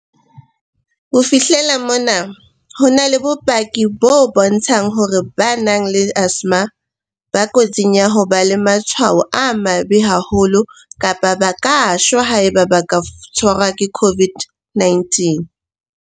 "Ho fihlela mona, ho na le bopaki bo bontshang hore ba nang le asthma ba kotsing ya ho ba le matshwao a mabe haholo kapa ba ka shwa haeba ba ka tshwarwa ke COVID-19."